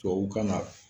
Tubabukan na